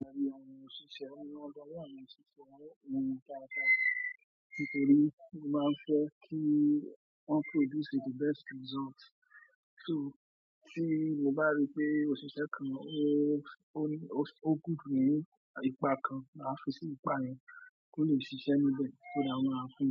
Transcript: Lẹ́yìn ọmọ ṣíṣe wọ́n gbọ́, wọ́n mọ ṣíṣe wọn, ohun ta ta tí pé lè máa ń fẹ́ kí wọ́n produce the best result. So tí mo bá rí pé òṣìṣẹ́ kan ó, ó, ó gùn ní ipa kan, màá fún sí ipa yẹn kí ó le ṣiṣẹ́ níbẹ̀, kí ó dáhùn máa fún.